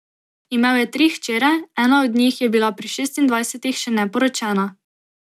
Imel je tri hčere, ena od njih je bila pri šestindvajsetih še neporočena.